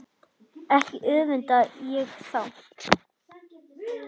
Ekki öfunda ég þá